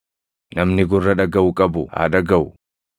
Namni gurra dhagaʼu qabu haa dhagaʼu.